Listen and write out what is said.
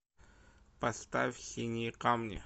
поставь синие камни